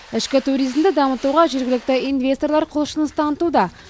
ішкі туризмді дамытуға жергілікті инвесторлар құлшыныс танытуда